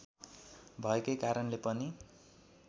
भएकै कारणले पनि